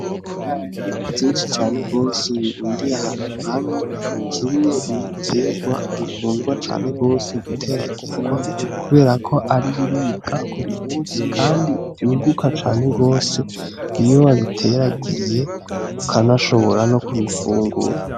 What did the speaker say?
Ibiharage vyinshi cane gose birundiye ahantu hamwe, kimwe mu biterwa bikundwa cane gose guteragirwa kubera ko ari ibiribwa buri musi kandi vyunguka cane gose iyo wabiteragiye, ukanashobora no kubifungura.